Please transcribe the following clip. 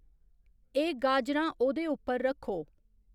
ए, गाजरां ओह्दे उप्पर रक्खो